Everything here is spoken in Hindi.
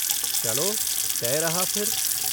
चलो, तय रहा फिर।